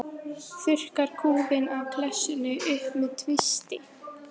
Þurrkar kúfinn af klessunni upp með tvisti.